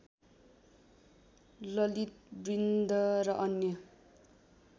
ललितबृन्द र अन्य